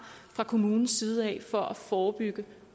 fra kommunens side for at forebygge